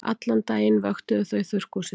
Allan daginn vöktuðu þau þurrkhúsið.